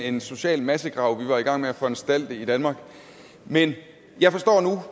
en social massegrav vi var i gang med at foranstalte i danmark men jeg forstår nu